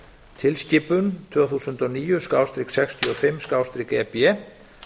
tilskipun tvö þúsund og níu sextíu og fimm e b